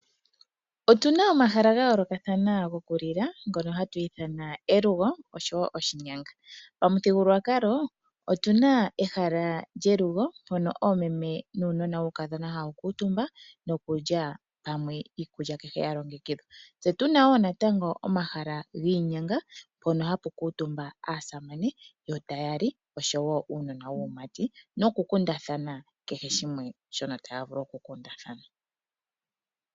Otu na omahala ga yoolokathana gokulila ngono hatu ithana elugo noshowo oshinyanga. Pamuthigululwakalo otu na elugo mpono oomeme nuunona wuukadhona hawu kuutumba nokulya pamwe iikulya kehe ya longekidhwa. Tse tu na wo natango omahala giinyanga mpono hapu kuutumba aasamane noshowo uunona waamati ngele taya li nokukundathana kehe shimwe shono taya vulu okukundathana.